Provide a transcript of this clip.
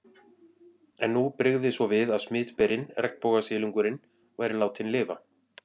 En nú brygði svo við að smitberinn, regnbogasilungurinn, væri látinn lifa.